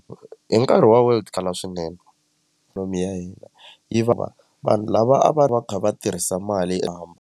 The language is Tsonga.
Hi nkarhi wa world kala swinene ya hina yi va vanhu lava a va va kha va tirhisa mali yo .